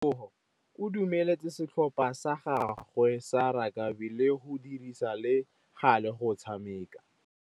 Tebogô o dumeletse setlhopha sa gagwe sa rakabi go dirisa le galê go tshameka.